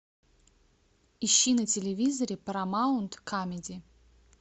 ищи на телевизоре парамаунт камеди